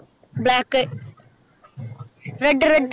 black red red